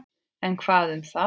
En hvað um það!